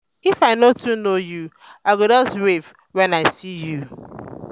if i no too know you i go just wave wen i see you.